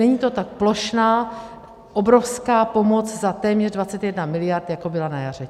Není to ta plošná, obrovská pomoc za téměř 21 miliard, jako byla na jaře.